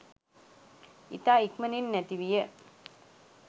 ඉතා ඉක්මනින් නැති විය